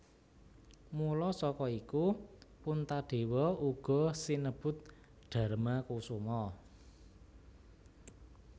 Mula saka iku Puntadewa uga sinebut Darmakusuma